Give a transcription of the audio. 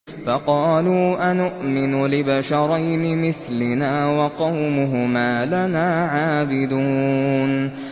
فَقَالُوا أَنُؤْمِنُ لِبَشَرَيْنِ مِثْلِنَا وَقَوْمُهُمَا لَنَا عَابِدُونَ